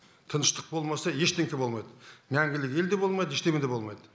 тыныштық болмаса ештеңке болмайды мәңгілік ел де болмайды ештеңе де болмайды